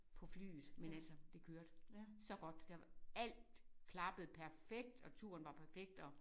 På flyet men altså det kørte så godt der var alt klappede perfekt og turen var perfekt og